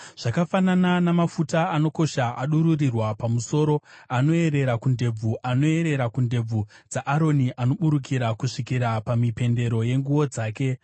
Zvakafanana namafuta anokosha adururirwa pamusoro, anoerera kundebvu, anoerera kundebvu dzaAroni, anoburukira kusvikira pamipendero yenguo dzake.